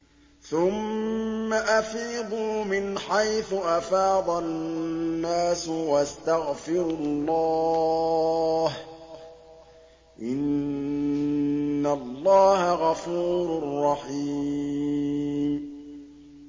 ثُمَّ أَفِيضُوا مِنْ حَيْثُ أَفَاضَ النَّاسُ وَاسْتَغْفِرُوا اللَّهَ ۚ إِنَّ اللَّهَ غَفُورٌ رَّحِيمٌ